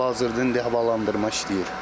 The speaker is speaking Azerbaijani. Hal-hazırda indi havalandırma işləyir.